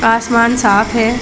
आसमान साफ़ है।